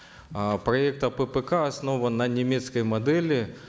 э проект аппк основан на немецкой модели